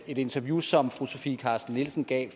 et interview som fru sofie carsten nielsen gav